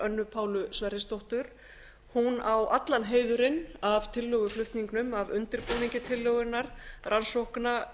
önnu pálu sverrisdóttur hún á allan heiðurinn af tillöguflutningnum af undirbúningi tillögunnar rannsókna